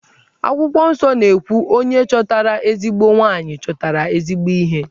Akwụkwọ nsọ na-ekwu 'Onye chọtara ezigbo nwanyị, chọtara ezigbo ihe'.